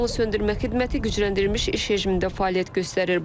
Yanğınsöndürmə xidməti gücləndirilmiş iş rejimində fəaliyyət göstərir.